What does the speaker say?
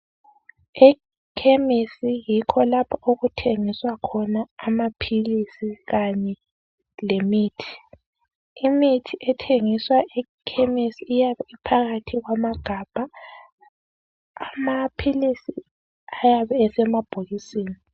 Ekhemisi yikho lapho okuthengiswa khona amaphilisi kanye lemithi. Imithi ethengiswa ekhemisi iyabe iphakathi kwamagabha. Amaphilisi ayabe esemabhokisini.